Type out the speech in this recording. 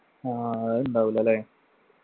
ആ അതുണ്ടാവൂല ല്ലേ